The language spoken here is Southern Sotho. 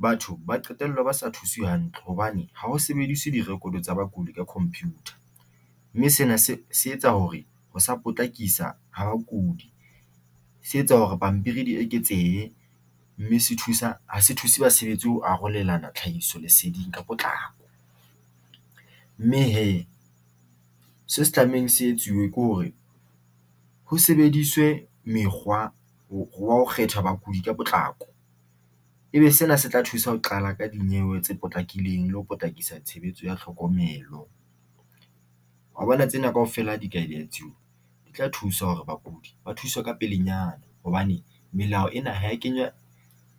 Batho ba qetella ba sa thuswe hantle hobane ha ho sebediswe di-record tsa bakudi ka computer mme sena se etsa hore ho potlakisa ha bakopi se etsa hore pampiri di eketsehe mme ha se thuse ha se thuse basebetsi ho arolelana tlhahisoleseding ka potlako mme hee se se tlamehileng se etsuwe ke hore ho sebediswe mekgwa wa ho kgetha bakudi ka potlako ebe sena se tla thusa ho qala ka dinyewe tse potlakileng le ho potlakisa tshebetso ya tlhokomelo wa bona tsena kaofela ha di ka . Di tla thusa hore bakudi ba thuswa ka pelenyana hobane melao ena ha eya kenywa